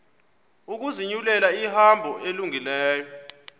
ukuzinyulela ihambo elungileyo